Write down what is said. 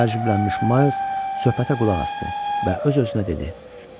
Təcrübələnmış Mays söhbətə qulaq asdı və öz-özünə dedi: